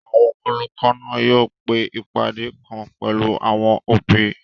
Àwọn olùkọ́ náà yóò pe ìpàdé kan pẹ̀lú àwọn òbí